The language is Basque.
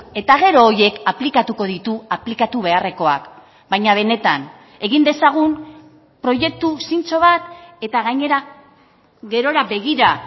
eta gero horiek aplikatuko ditu aplikatu beharrekoak baina benetan egin dezagun proiektu zintzo bat eta gainera gerora begira